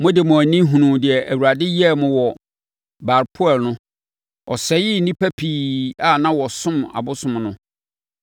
Mode mo ani hunuu deɛ Awurade yɛɛ mo wɔ Baal-peor no. Ɔsɛee nnipa pii a na wɔsom abosom no.